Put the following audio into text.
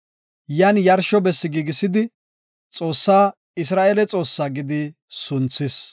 Yan yarsho bessi giigisidi, “Godaa, Isra7eele Xoossa” gidi sunthis.